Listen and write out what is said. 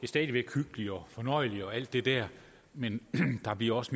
stadig væk hyggeligt og fornøjeligt og alt det der men der bliver også